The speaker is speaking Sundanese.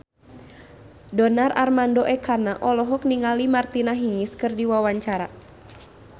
Donar Armando Ekana olohok ningali Martina Hingis keur diwawancara